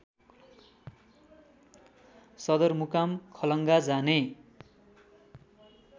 सदरमुकाम खलङ्गा जाने